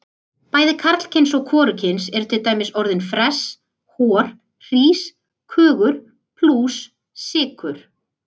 Bæði karlkyns og hvorugkyns eru til dæmis orðin fress, hor, hrís, kögur, plús, sykur.